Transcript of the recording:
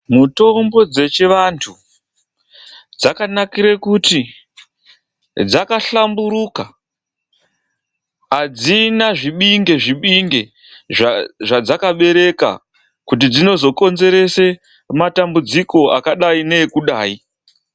MUTOMBO DZECHIVANTU DZAKANAKIRE KUTI DZAKAHLAMBURUKA, ADZINA ZVIBINGE ZVIBINGE ZVADZAKABEREKA KUTI DZINOZOKONZERESE MATAMBUDZIKO AKADAI NEEKUDAI.